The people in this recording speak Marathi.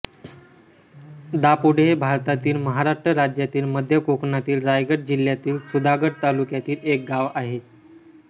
दापोडे हे भारतातील महाराष्ट्र राज्यातील मध्य कोकणातील रायगड जिल्ह्यातील सुधागड तालुक्यातील एक गाव आहे